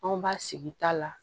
Anw b'a sigi ta la